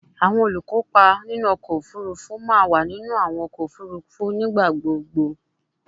Awọn olukopa ọkọ ofurufu ma wa ninu awọn ọkọ ofurufu nigbagbogbo